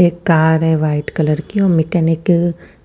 एक कार है white colour की और मेकानिक